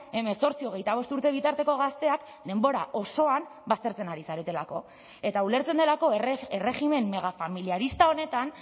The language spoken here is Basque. hemezortzi hogeita bost urte bitarteko gazteak denbora osoan baztertzen ari zaretelako eta ulertzen delako erregimen megafamiliarista honetan